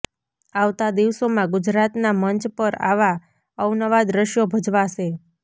આવતા દિવસોમાં ગુજરાતના મંચ પર આવાં અવનવાં દૃશ્યો ભજવાશે